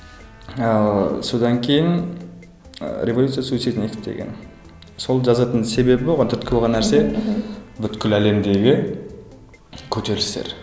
ыыы содан кейін ыыы революция суицидников деген сол жазатын себебім оған түрткі болған нәрсе бүкіл әлемдегі көтерілістер